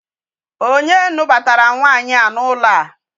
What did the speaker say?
Onye nụbatara nwaanyị a n'ụlọ a?